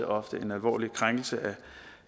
ofte en alvorlig krænkelse af